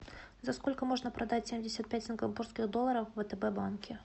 за сколько можно продать семьдесят пять сингапурских долларов в втб банке